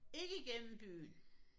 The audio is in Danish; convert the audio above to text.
Ikke igennem byen!